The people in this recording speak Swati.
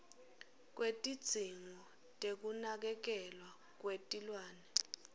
kwetidzingo tekunakekelwa kwetilwane